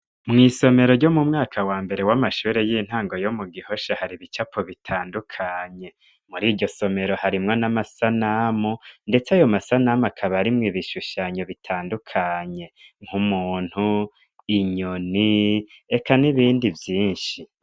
Mw'isomero ryo mu mwaka wa mbere w'amashure y'intango yo mu gihosha hari ibicapo bitandukanye muri iryo somero harimwo n'amasanamu, ndetse ayo masanamu akabarimwo ibishushanyo bitandukanye nkumuntu inyoni eka n'ibindi vyinshi.